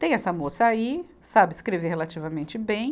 Tem essa moça aí, sabe escrever relativamente bem.